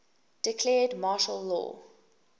declared martial law